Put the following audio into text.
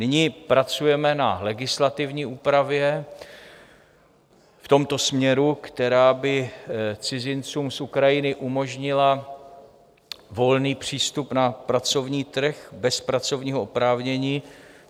Nyní pracujeme na legislativní úpravě v tomto směru, která by cizincům z Ukrajiny umožnila volný přístup na pracovní trh bez pracovního oprávnění.